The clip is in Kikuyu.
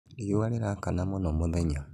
Riũa rĩrakana mũno mũthenya